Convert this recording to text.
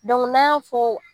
n'an y'a fɔ